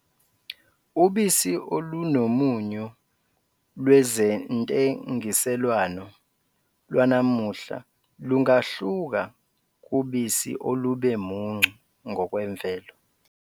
Ubisi olunomunyu lwezentengiselwano lwanamuhla lungahluka kubisi olube muncu ngokwemvelo.